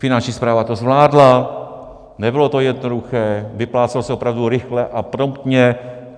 Finanční správa to zvládla, nebylo to jednoduché, vyplácelo se opravdu rychle a promptně.